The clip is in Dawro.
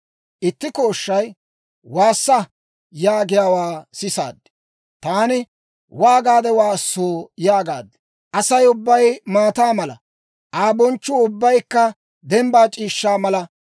Itti kooshshay, «Waassa!» yaagiyaawaa sisaad. Taani, «Waagaade waassoo?» yaagaad. «Asay ubbay maataa mala; Aa bonchchuu ubbaykka dembbaa c'iishshaa mala.